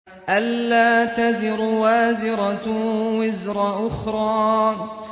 أَلَّا تَزِرُ وَازِرَةٌ وِزْرَ أُخْرَىٰ